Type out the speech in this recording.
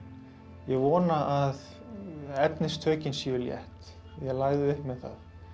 ég vona að efnistökin séu létt ég lagði upp með það